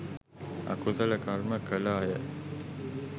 අකුසල කර්ම කළ අය